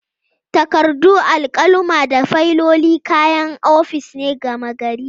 Takardu, alkaluma da fayiloli kayan ofis ne gama gari.